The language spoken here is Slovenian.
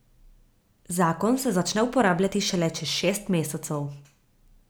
Zakon se začne uporabljati šele čez šest mesecev.